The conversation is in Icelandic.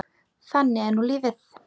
Þannig er nú lífið.